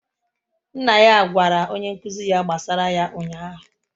Nna ya gwara onye nkụzi ya gbasara ya ụnyahụ